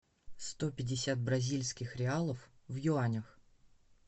сто пятьдесят бразильских реалов в юанях